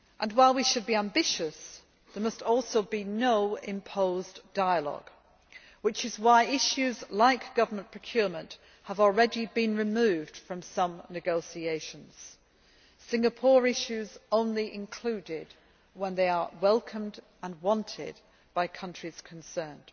While we should be ambitious, there must also be no imposed dialogue, which is why issues like government procurement have already been removed from some negotiations, and Singapore issues only included when they are welcomed and wanted by the countries concerned.